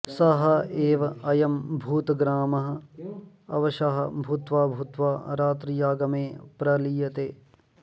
सः एव अयं भूतग्रामः अवशः भूत्वा भूत्वा रात्र्यागमे प्रलीयते